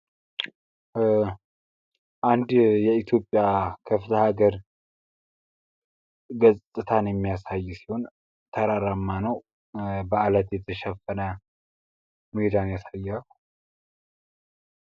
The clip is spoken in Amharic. በአንድ የኢትዮጵያ ክፍለ ሀገር ገጽታን የሚያሳይ ሲሆን ተራራማ ነው። በአለት የተሸፈነ ሜዳን ያሳያል።